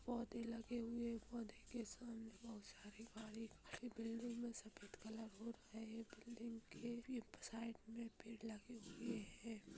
पोधे लगे हुएपोधे के सामने बहुत सारी हरी भरी घास दिख रही है बिल्डिंग मे सफ़द कलर हो रहा है बिल्डिंग के साइड में पेड़ लगे हुए हैं।